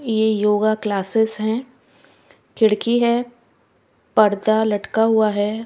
ये yoga classes हैं खिड़की है पर्दा लटका हुआ है।